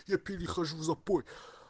я перехожу в запой